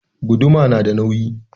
Guduma na da nauyi